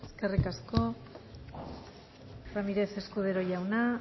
eskerrik asko ramírez escudero jauna